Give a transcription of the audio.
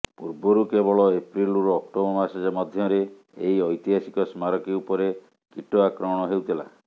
ପୂର୍ବରୁ କେବଳ ଏପ୍ରିଲ୍ରୁ ଅକ୍ଟୋବର ମାସ ମଧ୍ୟରେ ଏହି ଐତିହାସିକ ସ୍ମାରକୀ ଉପରେ କୀଟ ଆକ୍ରମଣ ହେଉଥିଲା